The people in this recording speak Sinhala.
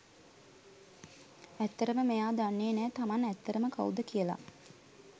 ඇත්තටම මෙයා දන්නේ නෑ තමන් ඇත්තටම කවුද කියලා.